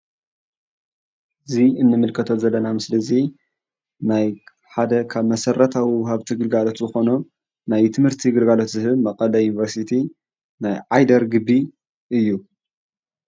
እዚ እንምልከቶ ዘለና ምስሊ እዚ ናይ ሓደ ካብ መሰረታዊ ወሃብቲ ግልጋሎት ዝኮኑ ናይ ትምህርቲ ግልጋሎት ዝህብ መቀለ ዩኒቨርስቲ ናይ ዓይደር ግቢ እዩ፡፡